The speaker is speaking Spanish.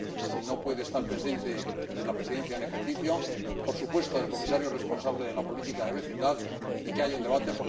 —si no puede estar presente, de la Presidencia en ejercicio— y, por supuesto, del Comisario responsable de la política de vecindad, y que haya un debate.